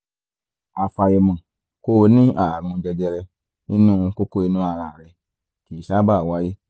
àfàìmọ̀ kó o ní ààrùn jẹjẹrẹ nínú kókó inú ara rẹ kìí sábà wáyé